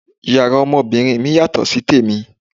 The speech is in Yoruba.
Yàrá ọmọbìnrin mi yàtọ̀ sí tèmi.